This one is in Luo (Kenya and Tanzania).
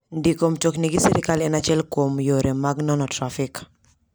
Ndiko mtokni gi sirkal en achiek kuom yore mag nono trafik.